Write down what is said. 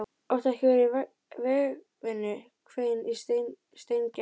Áttu ekki að vera í vegavinnu? hvein í Steingerði.